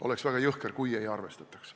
Oleks väga jõhker, kui ei arvestataks.